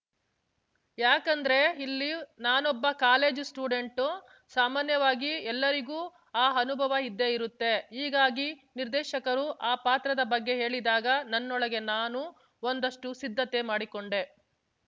ಯಾಕಂದ್ರೆ ಇಲ್ಲಿ ನಾನೊಬ್ಬ ಕಾಲೇಜು ಸ್ಟೂಡೆಂಟು ಸಾಮಾನ್ಯವಾಗಿ ಎಲ್ಲರಿಗೂ ಆ ಅನುಭವ ಇದ್ದೇ ಇರುತ್ತೆ ಹೀಗಾಗಿ ನಿರ್ದೇಶಕರು ಆ ಪಾತ್ರದ ಬಗ್ಗೆ ಹೇಳಿದಾಗ ನನ್ನೊಳಗೆ ನಾನು ಒಂದಷ್ಟುಸಿದ್ಧತೆ ಮಾಡಿಕೊಂಡೆ